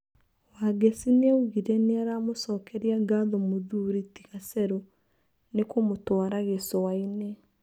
Wangeci nĩaugire nĩaramũcokeria ngatho mũthuri ti Gacerũnĩkũmũtwara Gĩcuainĩ.